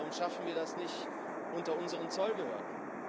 Warum schaffen wir das nicht unter unseren Zollbehörden?